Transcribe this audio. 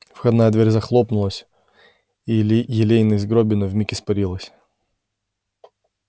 входная дверь захлопнулась и елейность горбина вмиг испарилась